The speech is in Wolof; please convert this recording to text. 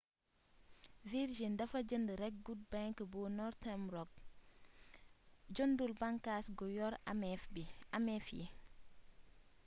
virgin dafa jënd rekk good bank bu northern rock jëndul bànkaas gu yor ameef yi